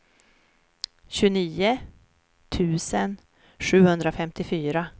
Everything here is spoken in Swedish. tjugonio tusen sjuhundrafemtiofyra